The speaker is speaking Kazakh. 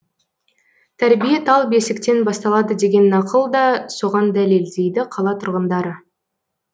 тәрбие тал бесіктен басталады деген нақыл да соған дәлел дейді қала тұрғындары